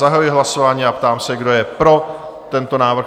Zahajuji hlasování a ptám se, kdo je pro tento návrh?